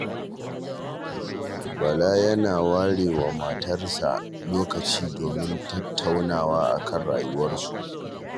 Bala yana ware wa matarsa lokaci domin tattaunawa a kan rayuwarsu